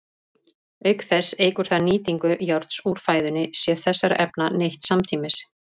Auk þess eykur það nýtingu járns úr fæðunni sé þessara efna neytt samtímis.